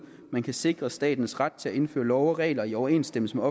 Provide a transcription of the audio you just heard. man kan sikre statens ret til at indføre love og regler i overensstemmelse med